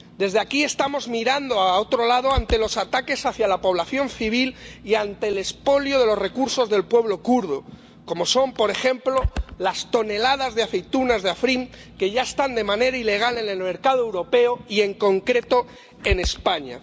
Desde aquí estamos mirando hacia otro lado ante los ataques a la población civil y ante el expolio de los recursos del pueblo kurdo, como son, por ejemplo, las toneladas de aceitunas de Afrín que ya están de manera ilegal en el mercado europeo y, en concreto, en España.